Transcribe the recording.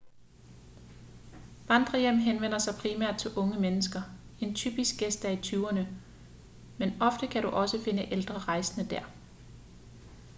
vandrerhjem henvender sig primært til unge mennesker en typisk gæst er i tyverne men ofte kan du også finde ældre rejsende der